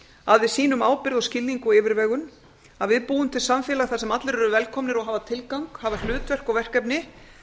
að við sýnum ábyrgð skilning og yfirvegun að við búum til samfélag þar sem allir eru velkomnir og hafa tilgang hlutverk og verkefni